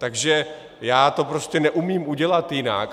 Takže já to prostě neumím udělat jinak.